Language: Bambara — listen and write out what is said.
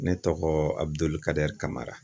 Ne tɔgɔ Abuduli kadɛri kamara.